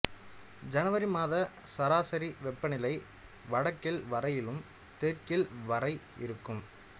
சனவரி மாத சராசரி வெப்பநிலை வடக்கில் வரையிலும் தெற்கில் வரை இருக்கும்